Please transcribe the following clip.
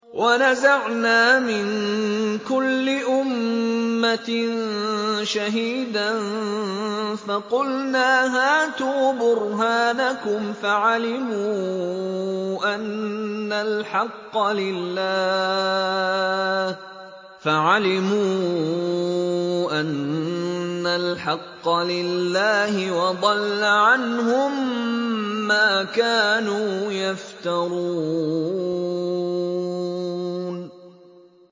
وَنَزَعْنَا مِن كُلِّ أُمَّةٍ شَهِيدًا فَقُلْنَا هَاتُوا بُرْهَانَكُمْ فَعَلِمُوا أَنَّ الْحَقَّ لِلَّهِ وَضَلَّ عَنْهُم مَّا كَانُوا يَفْتَرُونَ